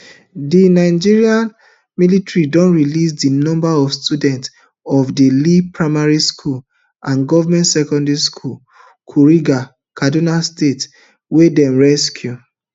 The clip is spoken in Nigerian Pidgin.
di nigerian military don release di number of students of lea primary school and government secondary school kuriga kaduna state wey dem rescue